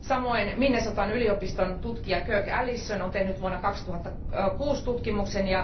Samoin Minnesotan yliopiston tutkija Kirk Allison on tehnyt vuonna 2006 tutkimuksen.